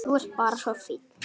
Þú ert bara svo fín.